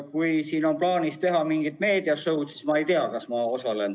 Kui on plaanis teha mingit meedia-show'd, siis ma ei tea, kas ma osalen.